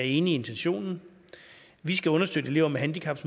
enig i intentionen vi skal understøtte elever med handicap